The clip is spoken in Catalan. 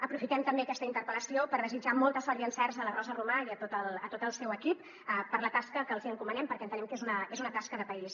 aprofitem també aquesta interpel·lació per desitjar molta sort i encerts a la rosa romà i a tot el seu equip per la tasca que els hi encomanem perquè entenem que és una tasca de país